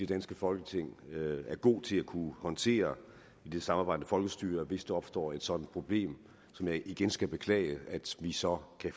danske folketing er gode til at kunne håndtere i det samarbejdende folkestyre hvis der opstår et sådant problem som jeg igen skal beklage så vi